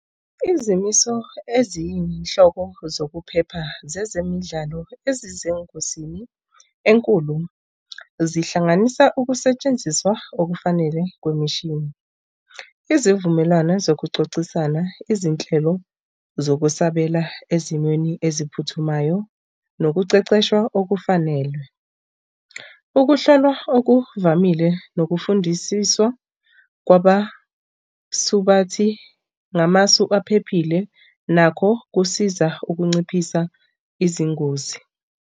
Izimiso eziyinhlobo zokuphepha zezemidlalo ezisengozini enkulu zihlanganisa ukusetshenziswa okufanele kwemishini. Izivumelwano zokuxoxisana izinhlelo zokusabela ezimweni eziphuthumayo nokuqeqeshwa okufanele. Ukuhlolwa okuvamile nokufundisiswa kwabasubathi ngamasu aphephile nakho kusiza ukunciphisa izingozi.